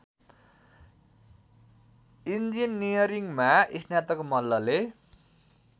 इन्जिनियरिङमा स्नातक मल्लले